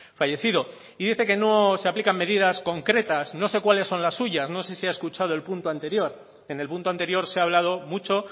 fallecido y dice que no se aplican medidas concretas no sé cuáles son las suyas no sé si ha escuchado el punto anterior en el punto anterior se ha hablado mucho